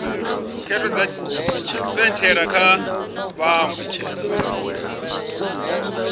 khetho dza tshipentshela kha vhaṅwe